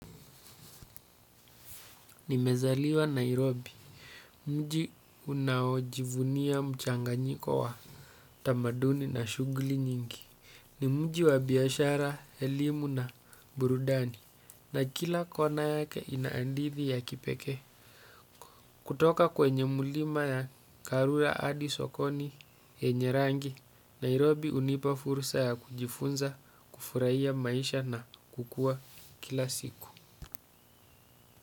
Nimezaliwa Nairobi, mji unaojivunia mchanganyiko wa tamaduni na shughuli nyingi. Ni mji wa biashara, elimu na burudani na kila kona yake inahadithi ya kipekee. Kutoka kwenye mlima ya karura hadi sokoni yenye rangi, Nairobi hunipa fursa ya kujifunza, kufurahia maisha na kukua kila siku.